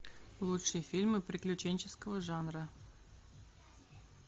лучшие фильмы приключенческого жанра